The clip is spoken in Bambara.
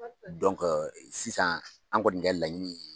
sisan an kɔni kɛ laɲini ye